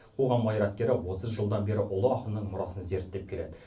қоғам қайраткері отыз жылдан бері ұлы ақынның мұрасын зерттеп келеді